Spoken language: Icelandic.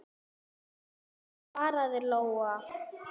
Sveinn, svaraði Lóa.